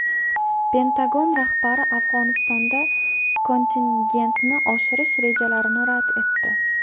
Pentagon rahbari Afg‘onistonda kontingentni oshirish rejalarini rad etdi.